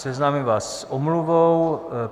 Seznámím vás s omluvou.